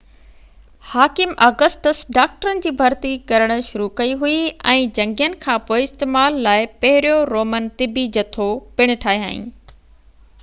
حاڪم آگسٽس ڊاڪٽرن جي ڀرتي ڪرڻ شروع ڪئي هئي ۽ جنگين کان پوءِ استعمال لاءِ پهريون رومن طبي جٿو پڻ ٺاهيائين